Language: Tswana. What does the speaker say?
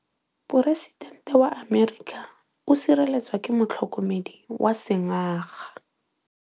Poresitêntê wa Amerika o sireletswa ke motlhokomedi wa sengaga.